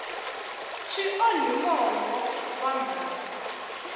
swi onhi mongo wa mhaka